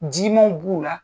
Jimanw b'u la,